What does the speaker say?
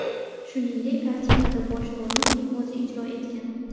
Shuningdek, kartinada bosh rolni uning o‘zi ijro etgan.